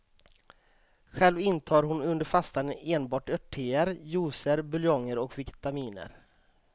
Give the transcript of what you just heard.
Själv intar hon under fastan enbart örttéer, juicer, buljonger och vitaminer.